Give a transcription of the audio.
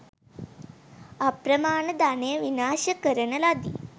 අප්‍රමාණ ධනය විනාශ කරන ලදී.